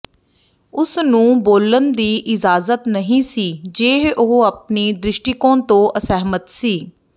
ਉਸ ਨੂੰ ਬੋਲਣ ਦੀ ਇਜਾਜ਼ਤ ਨਹੀਂ ਸੀ ਜੇ ਉਹ ਆਪਣੀ ਦ੍ਰਿਸ਼ਟੀਕੋਣ ਤੋਂ ਅਸਹਿਮਤ ਸੀ